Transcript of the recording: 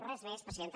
res més presidenta